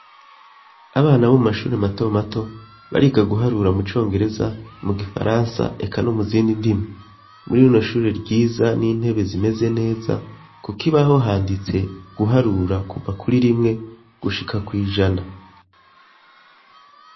Abana bo mu mashuri matomato bariga guharura mu congereza mu gifaransa eka no mu zindi ndimi muri rino shuri ryiza n'intebe zimeze neza, kuko ibaho handitse guharura kuva kuri rimwe gushika kwijana.